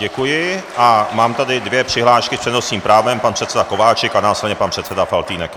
Děkuji a mám tady dvě přihlášky s přednostním právem - pan předseda Kováčik a následně pan předseda Faltýnek.